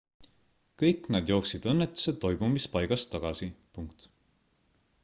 kõik nad jooksid õnnetuse toimumispaigast tagasi